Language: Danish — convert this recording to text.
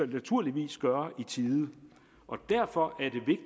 vi naturligvis gøre i tide og derfor